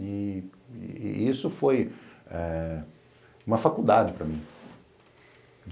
E isso foi eh uma faculdade para mim.